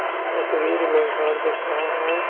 तस्वीर में घर दिख रहा है।